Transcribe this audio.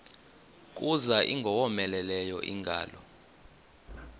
kuza ingowomeleleyo ingalo